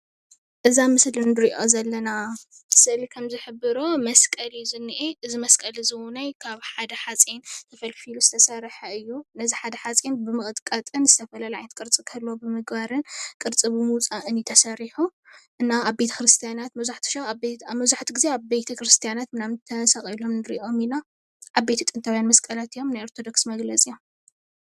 እዚ አብ ምስሊ ንሪኦ ዘለና ከምዝሕብሮ መስቀል እዩ ዘኒአ እዚመስቀል እዚ ውነይ ካብ ሓደ ሓፂን ተፈልፊሉ ዝተሰርሐ እዩ። ነዚ ሓደ ሓፂን ብምቅጥቃጥን ዝተፈላለየ ዓይነት ቅርፂ ክህልዎ ብምግባርን ቅርፂ ብምውፃእን እዩ ተሰሪሑ። እና አብ ቤተክርስትያናት መብዛሕቱ ግዜ ተሰቂሎም ንሪኦም ኢና። ዓበይቲ ጥንታውያን መስቀላት እዮም። ናይ ኦርተዶክሳውያን መግለፂ እዮም።